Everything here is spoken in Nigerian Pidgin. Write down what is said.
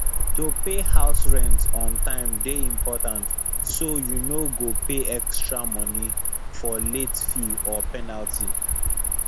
to pay house rent on time dey important so you no go pay extra money for late fee or penalty